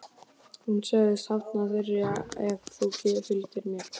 Hann sagðist hafna þér ef þú fylgdir mér.